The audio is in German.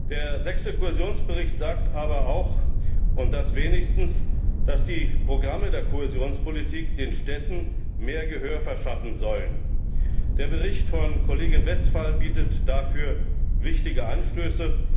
Der sechste Kohäsionsbericht sagt aber immerhin auch, dass die Programme der Kohäsionspolitik den Städten mehr Gehör verschaffen sollen. Der Bericht von Kollegin Westphal bietet dafür wichtige Anstöße.